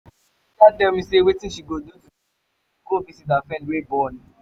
my sister tell me say wetin she go do today na to go visit her friend wey born